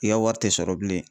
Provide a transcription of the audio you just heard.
I ka wari tɛ sɔrɔ bilen..